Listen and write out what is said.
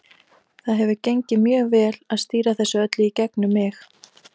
Það hefur gengið mjög vel að stýra þessu öllu í gegnum mig.